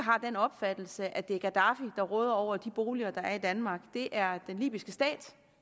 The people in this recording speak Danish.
har den opfattelse at det er gaddafi der råder over de boliger der er i danmark det er den libyske stat